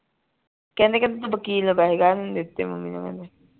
ਕਹਿੰਦੇ ਕੇ ਤੁਸੀਂ ਵਕੀਲ ਨੂੰ ਪੈਸੇ ਕਾਹਤੋਂ ਨਹੀਂ ਦਿਤੇ ਮੰਮੀ ਨੂੰ ਕਹਿੰਦੇ